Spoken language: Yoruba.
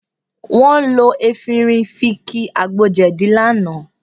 Wọ́n lo efinrin fi ki àgbo jẹ̀dí lánàá